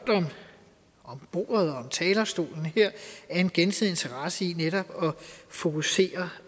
om bordet og om talerstolen her er en gensidig interesse i netop at fokusere